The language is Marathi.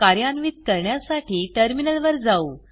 कार्यान्वित करण्यासाठी टर्मिनलवर जाऊ